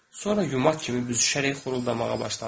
Sonra yumaq kimi büzüşərək xoruldamaya başladı.